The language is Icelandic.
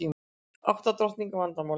Átta drottninga vandamálið